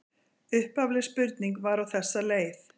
Upphafleg spurning var á þessa leið: